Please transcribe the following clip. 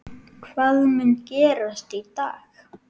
Hvað mun gerast í dag?